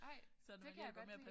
Ej det kan jeg godt lide